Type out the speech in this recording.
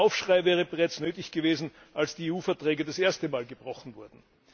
Ein Aufschrei wäre bereits nötig gewesen, als die EU Verträge das erste Mal gebrochen wurden.